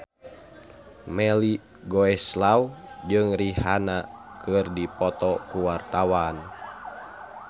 Melly Goeslaw jeung Rihanna keur dipoto ku wartawan